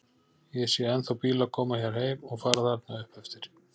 Og ég sé ennþá bíla koma hér heim og fara þarna upp eftir.